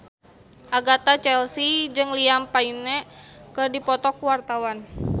Agatha Chelsea jeung Liam Payne keur dipoto ku wartawan